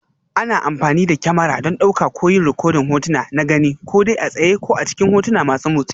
Ana amfani da kyamara don ɗauka ko yin rikodin hotuna na gani, ko dai a tsaye ko a cikin hotuna masu motsi.